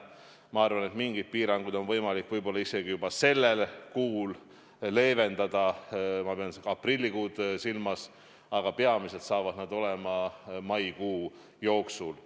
Ma arvan, et mingeid piiranguid on võimalik võib-olla isegi juba sellel kuul leevendada, ma pean siin aprillikuud silmas, aga peamiselt saab see olema maikuu jooksul.